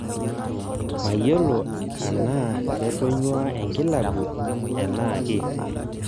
mayiolo anaa ketonyua enkilabu enake